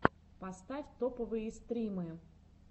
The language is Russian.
поставь топовые стримы